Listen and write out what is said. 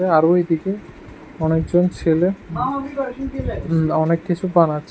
আরো এদিকে অনেকজন ছেলে হম অনেক কিছু বানাচ্ছে।